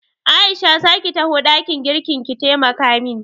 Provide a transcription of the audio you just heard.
Aisha za ki taho ɗakin girkin ki taimaka min?